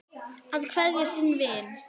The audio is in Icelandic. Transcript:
Að kveðja sinn vin